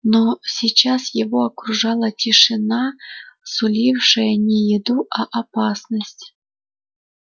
но сейчас его окружала тишина сулившая не еду а опасность